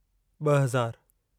ॿ हज़ारु